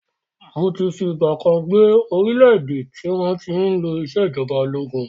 Mó ti fi ìgbàkan gbé orílẹ̀ èdè tí wọn tí ń lò ìsèjọba ológun